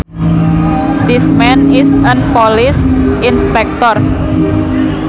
This man is an police inspector